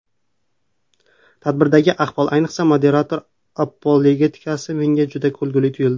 Tadbirdagi ahvol, ayniqsa moderator apologetikasi menga juda kulguli tuyuldi.